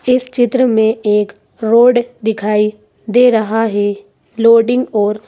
इस चित्र में एक रोड दिखाई दे रहा है लोडिंग और--